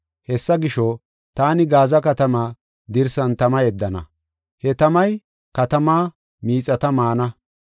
Hessa gisho, taani Gaaza katamaa dirsan tama yeddana; he tamay katamaa miixata maana.